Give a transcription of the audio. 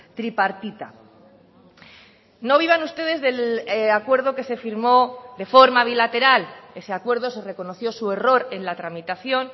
tripartita no vivan ustedes del acuerdo que se firmó de forma bilateral ese acuerdo se reconoció su error en la tramitación